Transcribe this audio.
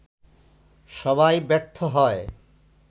সবাই ব্যর্থ হয়